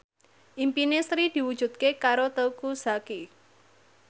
impine Sri diwujudke karo Teuku Zacky